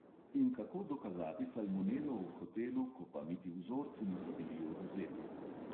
In kako dokazati salmonelo v hotelu, ko pa niti vzorci niso bili odvzeti?